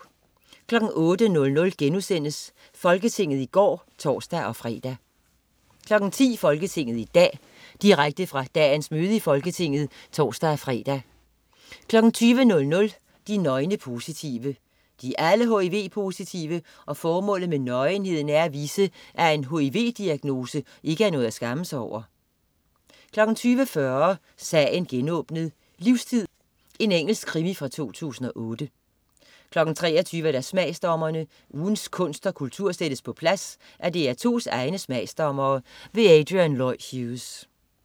08.00 Folketinget i går* (tors-fre) 10.00 Folketinget i dag. Direkte fra dagens møde i Folketinget (tors-fre) 20.00 De nøgne positive. De er alle hiv-positive, og formålet med nøgenheden er at vise, at en hiv-diagnose ikke er noget at skamme sig over 20.40 Sagen genåbnet: Livstid. Engelsk krimi fra 2008 23.00 Smagsdommerne. Ugens kunst og kultur sættes på plads af DR2's egne smagsdommere. Adrian Lloyd Hughes